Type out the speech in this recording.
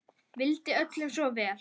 Vildi öllum svo vel.